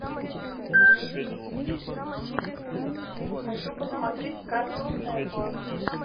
хочу посмотреть картун нетворк